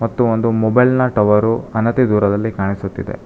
ಮತ್ತು ಒಂದು ಮೊಬೈಲ್ ನ ಟವರು ಹಣತೆ ದೂರದಲ್ಲಿ ಕಾಣಿಸುತ್ತಿದೆ.